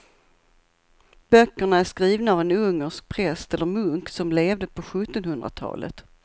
Böckerna är skrivna av en ungersk präst eller munk som levde på sjuttonhundratalet.